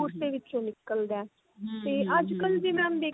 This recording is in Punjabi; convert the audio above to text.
ਉਸ ਦੇ ਵਿੱਚੋਂ ਨਿਕਲਦਾ ਤੇ ਅੱਜਕਲ ਵੀ mam ਦੇਖਿਆ